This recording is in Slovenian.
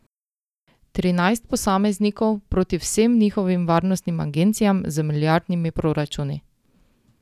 Trinajst posameznikov proti vsem njihovim varnostnim agencijam z milijardnimi proračuni?